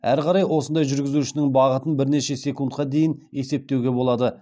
әрі қарай осындай жүргізушінің бағытын бірнеше секундқа дейін есептеуге болады